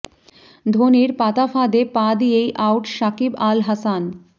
ধোনির পাতা ফাঁদে পা দিয়েই আউট শাকিব আল হাসান